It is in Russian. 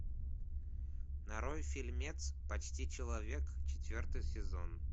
нарой фильмец почти человек четвертый сезон